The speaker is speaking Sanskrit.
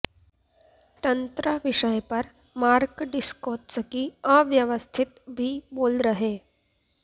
तंत्र विषय पर मार्क डिस्कोत्स्की अव्यवस्थित भी बोल रहे